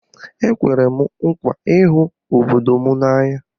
Ekwere m nkwa ịhụ obodo n'anya